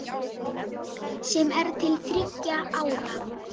sem er til þriggja ára.